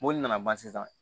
Mobili nana ban sisan